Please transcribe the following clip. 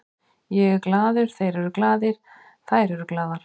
Ég er glaður, þeir eru glaðir, þær eru glaðar.